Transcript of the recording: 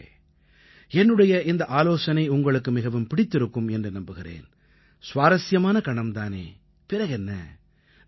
நண்பர்களே என்னுடைய இந்த ஆலோசனை உங்களுக்கு மிகவும் பிடித்திருக்கும் என்று நம்புகிறேன் சுவாரசியமான கணம் தானே பிறகென்ன